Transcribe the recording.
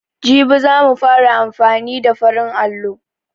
Jibi za mu fara amfani da farin allo.